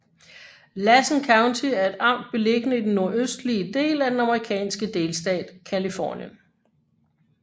Lassen County er et amt beliggende i den nordøstlige del af den amerikanske delstat Californien